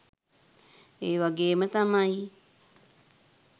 ඒ වගේම තමයි